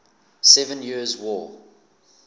seven years war